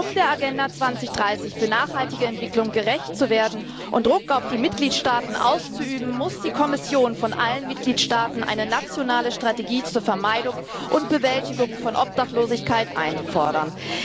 Um der Agenda 2030 für nachhaltige Entwicklung gerecht zu werden und Druck auf die Mitgliedstaaten auszuüben, muss die Kommission von allen Mitgliedstaaten eine nationale Strategie zur Vermeidung und Bewältigung von Obdachlosigkeit einfordern.